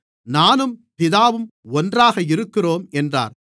நானும் பிதாவும் ஒன்றாக இருக்கிறோம் என்றார்